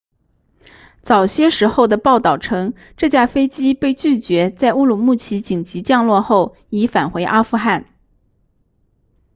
早些时候的报道称这架飞机被拒绝在乌鲁木齐紧急降落后已返回阿富汗